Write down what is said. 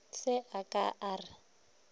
se a ka a re